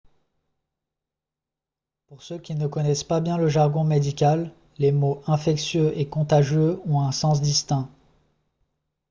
pour ceux qui ne connaissent pas bien le jargon médical les mots « infectieux » et « contagieux » ont un sens distinct